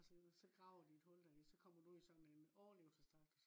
så kraver de et hul der i. så kommer du ud i sådan en overlevelsesdragt